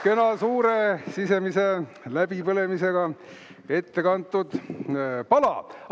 Kena suure sisemise põlemisega ette kantud pala!